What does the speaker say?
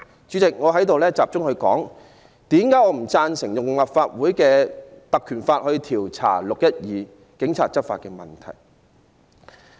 主席，以下我集中論述我不贊成根據《立法會條例》調查"六一二"警方執法的原因。